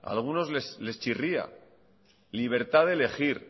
a algunos les chirría libertad de elegir